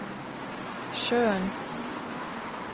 sjøen